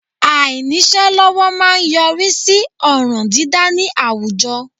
Àìníṣẹ́ lọ́wọ́ má a ń yọrí sí ọ̀ràn dídâ ní àwùjọ